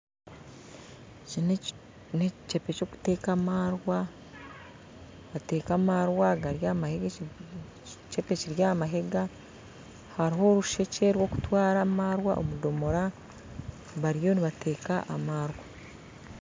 Eki na ekikebe kyokuteeka amaarwa bateeka amaarwa gari aha mahiga hariho orusekye rwokutwara amaarwa omu domora bariyo nibateeka amaarwa